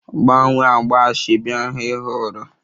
Gbanwee agba asoebi ahụ ị họọrọ!